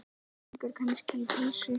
Gengur kannski í pilsi?